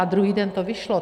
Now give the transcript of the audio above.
A druhý den to vyšlo.